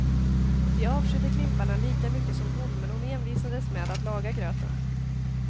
Vi avskydde klimparna lika mycket som hon, men hon envisades med att laga gröten.